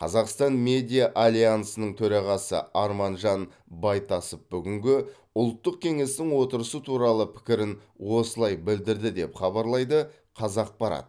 қазақстан медиа альянсының төрағасы арманжан байтасов бүгінгі ұлттық кеңестің отырысы туралы пікірін осылай білдірді деп хабарлайды қазақпарат